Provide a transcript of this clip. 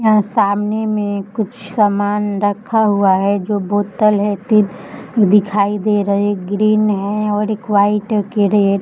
यहाँ सामने एम कुछ सामान रखा हुआ है जो बोतल है तीन दिखै दे रे ग्रीन है और एक व्हाइट की रेड ।